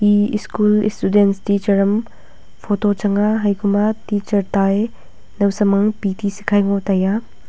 ee school student teacher am photo changa haipama teacher taye nowsam am pity sikhai ngo taiya.